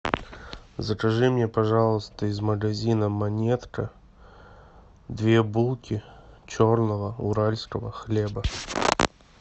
закажи мне пожалуйста из магазина монетка две булки черного уральского хлеба